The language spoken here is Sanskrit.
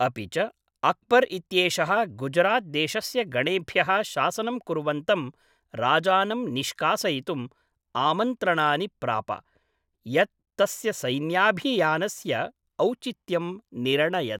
अपि च, अक्बर् इत्येषः गुजरात् देशस्य गणेभ्यः शासनं कुर्वन्तं राजानं निष्कासयितुम् आमन्त्रणानि प्राप, यत् तस्य सैन्याभियानस्य औचित्यं निरणयत्।